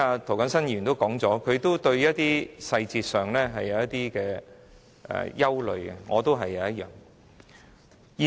涂謹申議員剛才表示對於細節有些憂慮，我也是如此。